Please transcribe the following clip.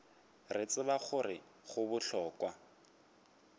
re tseba gore go bohlokwa